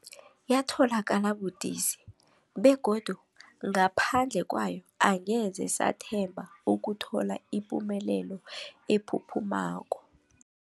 Yatholakala budisi, begodu ngaphandle kwayo angeze sathemba ukuthola ipumelelo ephuphumako.